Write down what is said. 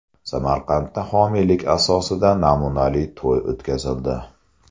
Samarqandda homiylik asosida namunali to‘y o‘tkazildi.